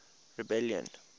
rebellion